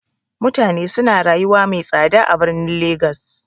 Mutane suna rayuwa mai tsada a birnin legas.